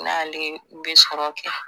N'ale bɛ sɔrɔ kɛ